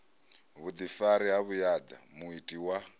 vhuḓifari ha vhuaḓa muiti wa